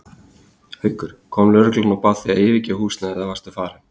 Haukur: Kom lögreglan og bað þig að yfirgefa húsnæðið eða varstu farin?